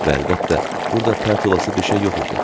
Və əlbəttə, burda pərt olası bir şey yox idi.